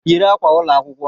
Yiri akwa ụlọ akwụkwọ!